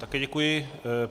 Také děkuji.